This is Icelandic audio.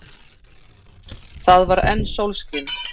Það var enn sólskin.